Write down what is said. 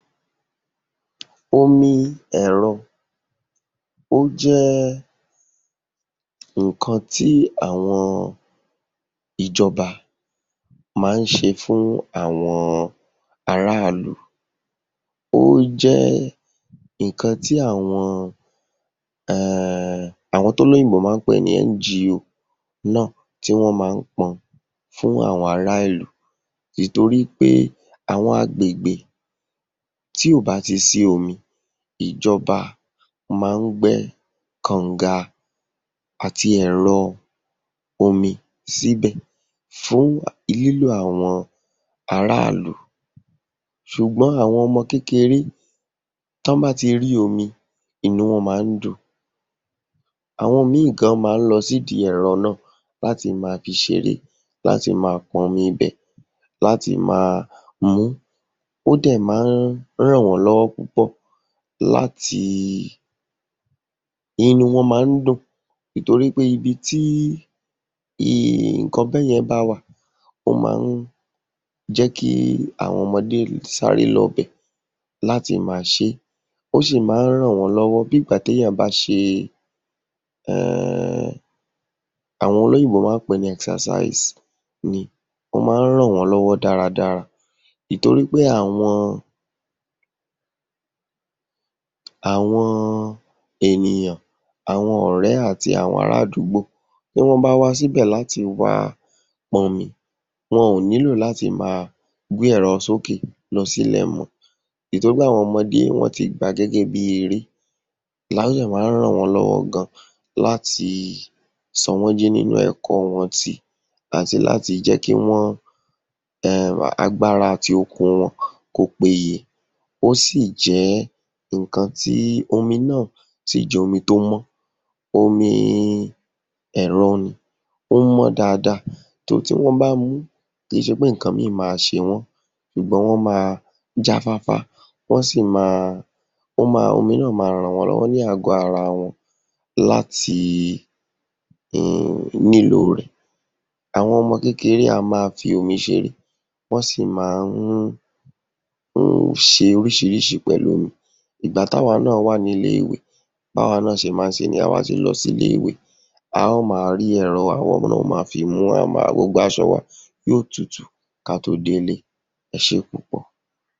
Omi ẹ̀rọ, ó jẹ́ nǹkan tí àwọn ìjọba má ń ṣe fún àwọn ará ìlú. Ó jẹ́ nǹkan tí àwọn um àwọn t’ólóyìnbó má ń pè ní NGO náà tí wọ́n má ń pọn fún àwọn ará ìlú ìtorí pé àwọn agbègbè tí ò bá ti sí omi, ìjọba má ń gbẹ́ kọ̀ǹga àti ẹ̀rọ omi síbẹ̀ fún lílò àwọn ará ìlú. Ṣùgbọ́n àwọn ọmọ kékeré, tí wọ́n bá ti rí omi, inú wọn má ń dùn, àwọn míì gan-an má ń lọ sí ìdí ẹ̀rọ náà láti máa fi ṣeré, láti máa pọnmi ibẹ̀, láti máa mu ún. Ó dẹ̀ má ń ràn wọ́n lọ́wọ́ púpọ̀ láti, inú wọn má ń dùn, ìtorí pé ibi tí nǹkan bẹ́yẹn bá wà, ó má ń jẹ́ kí àwọn ọmọdé sáré lọbẹ̀. Ó sì má ń ràn wọ́n lọ́wọ́, bí ìgbà t’éèyàn bá ṣe um, àwọn olóyìnbó má ń pè é ní exercise ni. Ó má ń ràn wọ́n lọ́wọ́ dára dára ìtorí pé àwọn àwọn àwọn ènìyàn, àwọn ọ̀rẹ́ àti ará àdúgbò tí wọ́n bá wá síbẹ̀ láti wá pọn omi, wọn ò nílò láti máa gbé ẹ̀rọ s’ókè lọsílẹ̀ mọ́ ìtorí pé àwọn ọmọdé wọ́n ti gbà á gégé bí eré. A dè má ń ràn wọ́n lọ́wọ́ gan-an láti sọ wọ́n jí nínú ẹ̀kọ́ wọn tí àti láti jẹ́ kí wọ́n um agbára àti okun wọn kí ó péye. Ó sì jẹ́ nǹkan tí, omi náà sì jẹ́ omi tó mọ́n, omi ẹ̀rọ nì, ó mọ́n dáadáa. tí wọ́n bá ń mu ún kìí ṣe pé nǹkan míì máa ṣe wọ́n ṣùgbọ́n wọ́n máa jáfáfá, wọ́n sì máa, omi náà máa ràn wọ́n lọ́wọ́ ní àgọ́ ara wọn láti um nílò rẹ̀. Àwọn ọmọ kékeré wọ́n má ń fi omi ṣeré, wọ́n sì má ń ṣe oríṣiríṣi pẹ̀lú omi. Ìgbà t’áwa náà wà ní ilé-ìwé b’áwa náà ṣe má ń ṣe nìyẹn. Tá a bá ti lọ sí ilé-ìwé, a ó máa rí ẹ̀rọ, àwa náà ó máa fi mu ún, á máa, gbogbo aṣọ wa yóó tutù ká tó délé. Ẹ ṣé púpọ̀.